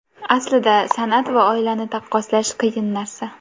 Aslida san’at va oilani taqqoslash qiyin narsa.